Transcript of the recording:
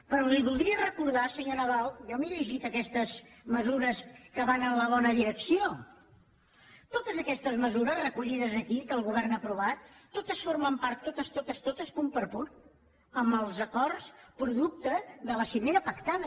però li voldria recordar senyor nadal jo m’he llegit aquestes mesures que van en la bona direcció totes aquestes mesures recollides aquí que el govern ha aprovat totes formen part totes totes totes punt per punt dels acords producte de la cimera pactada